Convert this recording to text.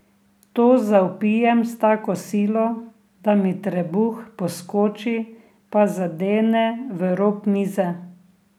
To zavpijem s tako silo, da mi trebuh poskoči pa zadene v rob mize.